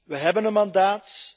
We hebben een mandaat.